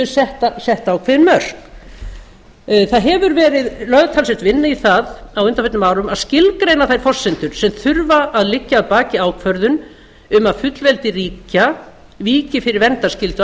séu sett ákveðin mörk það hefur verið lögð talsverð vinna í það á undanförnum árum að skilgreina þær forsendur sem þurfa að liggja að baki ákvörðun um að fullveldi ríkja víki fyrir verndarskyldu